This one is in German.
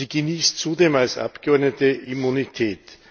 Sie genießt zudem als Abgeordnete Immunität.